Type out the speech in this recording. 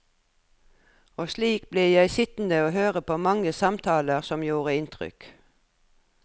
Og slik ble jeg sittende høre på mange samtaler som gjorde inntrykk.